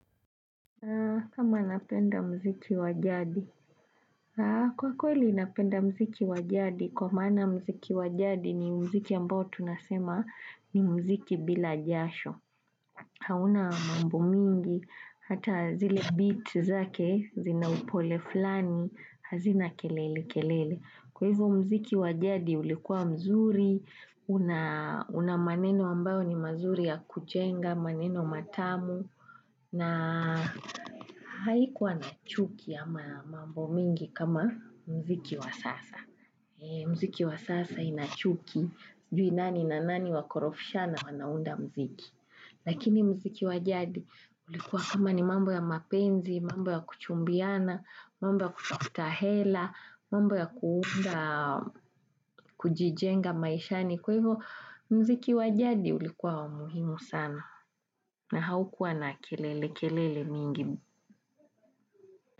Kama anapenda mziki wajadi. Kwa kweli inapenda mziki wajadi, kwa mana mziki wajadi ni mziki ambao tunasema ni mziki bila jasho. Hauna mambo mingi, hata zile beat zake, zina upole flani, hazina kelele kelele. Kwa hivu mziki wajadi ulikuwa mzuri, unamaneno ambao ni mazuri ya kujenga, maneno matamu. Na haikuwa na chuki ya mambo mingi kama mziki wa sasa. Mziki wa sasa inachuki juinani na nani wakorofishana wanaunda mziki. Lakini mziki wajadi ulikuwa kama ni mambo ya mapenzi, mambo ya kuchumbiana, mambo ya kutahela, mambo ya kuunda, kujijenga maishani. Kwa hivyo mziki wajadi ulikuwa wa muhimu sana. Na haukua na kelele kelele mingi bu.